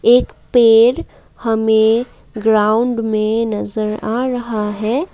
एक पेड़ हमें ग्राउंड में नजर आ रहा है।